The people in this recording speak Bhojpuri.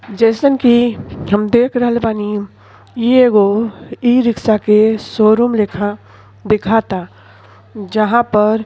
जइसन कि हम देख रहल बानी इ एगो ई-रिक्शा के शोरूम लेखा दिखाता जहाँ पर --